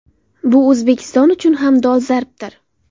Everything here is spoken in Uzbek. Bu O‘zbekiston uchun ham dolzarbdir.